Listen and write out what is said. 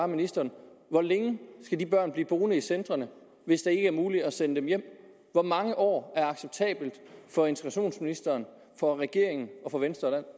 ministeren hvor længe skal de børn blive boende i centrene hvis det ikke er muligt at sende dem hjem hvor mange år er acceptabelt for integrationsministeren for regeringen for venstre